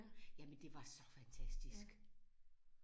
Jamen det var så fantastisk!